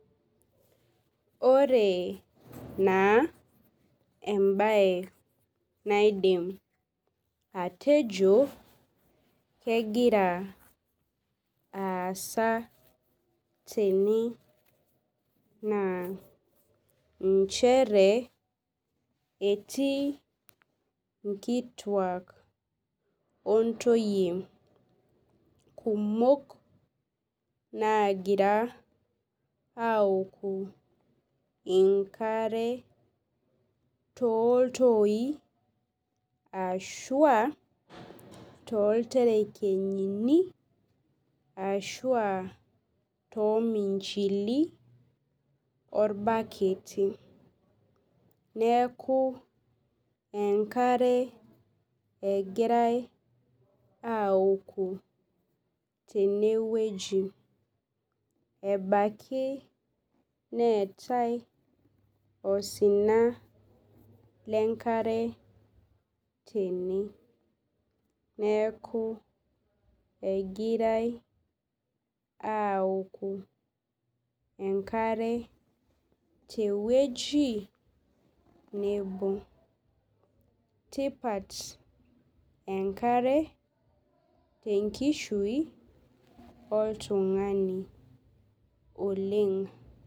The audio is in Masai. Ore naa embae naifim atejo nakegira aasa tene na nchere etii nkituak ontoyie kumok nagira aaokubenkare toltoi ashu aa tolterekenyini ashu aa tominjili orbaketi neaku enkare egirai aokoo tenewueji ebaki neetae osina lenkare tene neaku egirai aoku enkare tewueji negut tipat enkare tenkishui oltungani oleng.